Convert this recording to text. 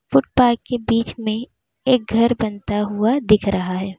Footpath के बीच में एक घर बनता हुआ दिख रहा है।